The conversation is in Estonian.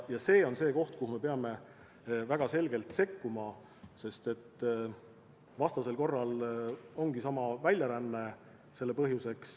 See on tegur, mille tõttu me peame tingimata sekkuma, sest vastasel korral ongi tagajärjeks väljaränne.